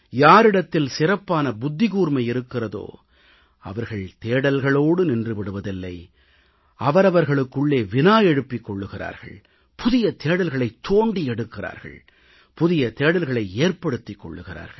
யாரிடத்தில் சிறப்பான புத்திகூர்மை இருக்கிறதோ அவர்கள் தேடல்களோடு நின்று விடுவதில்லை அவரவர்களுக்குள்ளே வினா எழுப்பிக் கொள்கிறார்கள் புதிய தேடல்களைத் தோண்டி எடுக்கிறார்கள் புதிய தேடல்களை ஏற்படுத்திக் கொள்கிறார்கள்